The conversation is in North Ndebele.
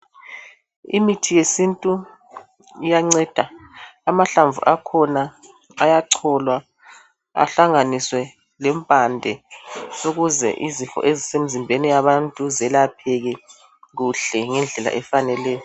Imithi yesintu iyanceda abantu. Amahlamvu akhona ayacholwa ahlanganiswe lempande ukuze izifo ezisemzimbeni yabantu zelapheke kuhle ngendlela efaneleyo.